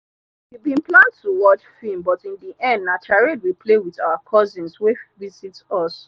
we bin plan to watch film but in the end na charades we play with our cousins wey visit us.